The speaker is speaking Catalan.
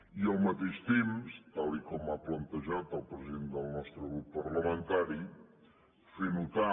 i al mateix temps tal com ha plantejat el president del nostre grup parlamentari fer notar